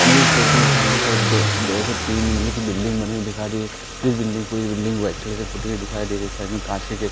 मुझे इस फोटो में सामने की ओर दो दो से तीन मंजिले के बिल्डिंग बनी हुई दिखाई दे जिस बिल्डिंग पूरी व्हाइट कलर के पुटी हुई दिखाई दे रही है साइड में कांच के गेट --